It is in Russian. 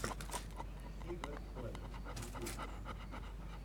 си вест плей ютюб